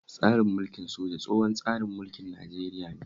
Tsarin mulkin soja tsohon tsarin mulkin Nigeria ne